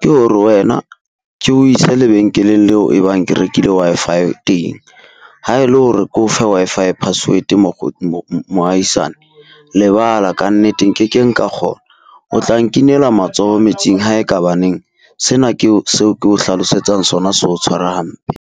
ke hore wena ke o ise lebenkeleng leo e bang ke rekile Wi-Fi teng. Ha e le hore ke o fe Wi-Fi password mohaisane lebala kannete nkekeng ka kgona. O tla nkinela matsoho metsing ha ekaba neng sena ke o seo ke o hlalosetsang sona se o tshwara hampe.